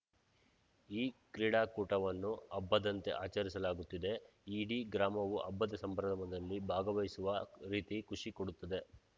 ಈ ಕ್ರೀಡಾಕೂಟವನ್ನು ಹಬ್ಬದಂತೆ ಆಚರಿಸಲಾಗುತ್ತಿದೆ ಇಡೀ ಗ್ರಾಮವು ಹಬ್ಬದ ಸಂಭ್ರಮದಲ್ಲಿ ಭಾಗವಹಿಸುವ ರೀತಿ ಖುಷಿ ಕೊಡುತ್ತದೆ